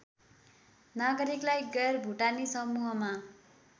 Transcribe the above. नागरिकलाई गैरभुटानी समूहमा